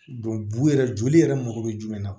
bun yɛrɛ joli yɛrɛ mago bɛ jumɛn na